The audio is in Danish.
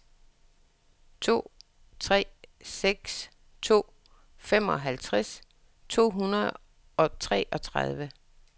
to tre seks to femoghalvfjerds to hundrede og treogtredive